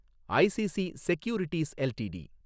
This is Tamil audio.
ICC securities LTD